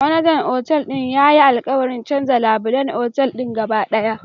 Manajan Otal din yayi alkawarin canza labulen otal gaba daya